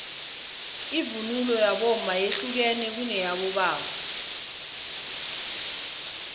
ivunulo yabomma yehlukene kuneyabobaba